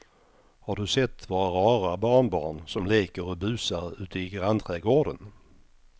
Har du sett våra rara barnbarn som leker och busar ute i grannträdgården!